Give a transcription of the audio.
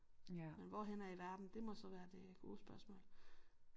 Men hvor henne af i verden det må så være det gode spørgsmål